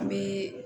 An bɛ